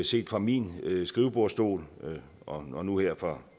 set fra min skrivebordsstol og nu her fra